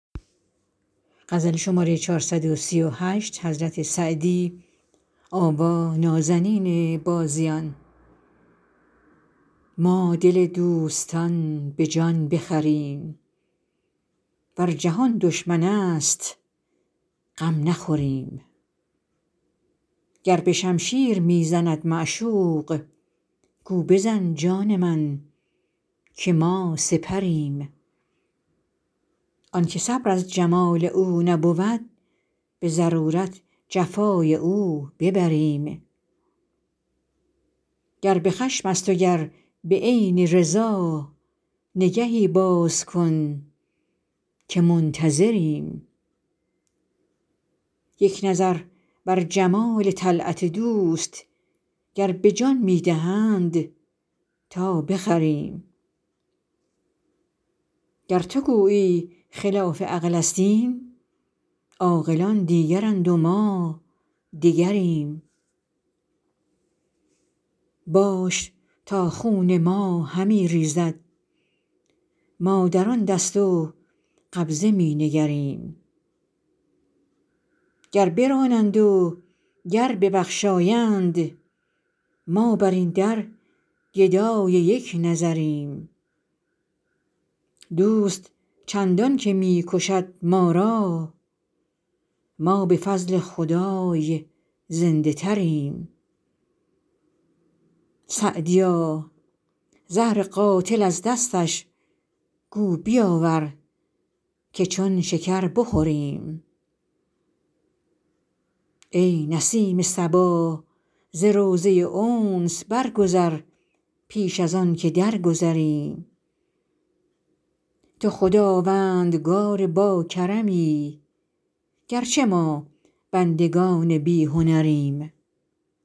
ما دل دوستان به جان بخریم ور جهان دشمن است غم نخوریم گر به شمشیر می زند معشوق گو بزن جان من که ما سپریم آن که صبر از جمال او نبود به ضرورت جفای او ببریم گر به خشم است و گر به عین رضا نگهی باز کن که منتظریم یک نظر بر جمال طلعت دوست گر به جان می دهند تا بخریم گر تو گویی خلاف عقل است این عاقلان دیگرند و ما دگریم باش تا خون ما همی ریزد ما در آن دست و قبضه می نگریم گر برانند و گر ببخشایند ما بر این در گدای یک نظریم دوست چندان که می کشد ما را ما به فضل خدای زنده تریم سعدیا زهر قاتل از دستش گو بیاور که چون شکر بخوریم ای نسیم صبا ز روضه انس برگذر پیش از آن که درگذریم تو خداوندگار باکرمی گر چه ما بندگان بی هنریم